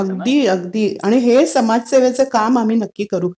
अगदी. अगदी. आणि हे समाजसेवेचं काम आम्ही नक्की करू.